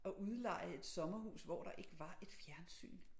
At udleje et sommerhus hvor der ikke var et fjernsyn